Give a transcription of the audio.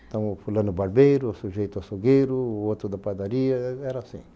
Então, o fulano barbeiro, o sujeito açougueiro, o outro da padaria, era assim.